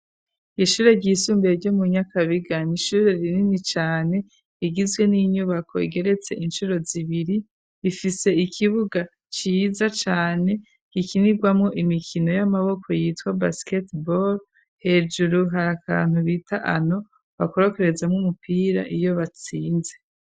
Ishure ryisumbiye ryo mu nyakabiga ni ishure rinini cane rigizwe n'inyubako igeretse inshuro zibiri rifise ikibuga ciza cane gikinirwamwo imikino y'amaboko yitwa basket ball hejuru hari akantu bita ano bakorokereza mwo umupira iyo batsinze.